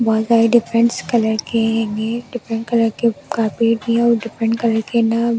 बहुत सारे differents colour के डिफरेंट कलर के कारपेट भी है और डिफरेंट के।